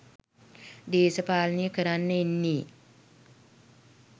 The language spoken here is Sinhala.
දේශපාලනය කරන්න එන්නේ